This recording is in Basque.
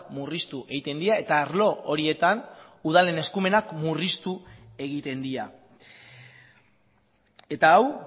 murriztu egiten dira eta arlo horietan udalen eskumenak murriztu egiten dira eta hau